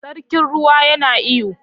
Sarkin ruwa yana iyo.